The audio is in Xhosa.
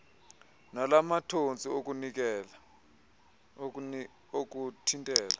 nala mathontsi okuthintela